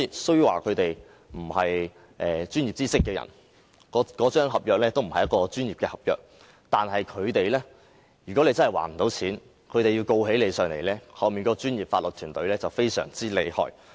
雖然他們並非擁有專業知識的人，而那份合約亦不是專業合約，但如果借款人真的無法還款，他們要控告借款人的話，其背後的專業法律團隊卻非常厲害。